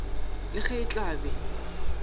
le ge e tla be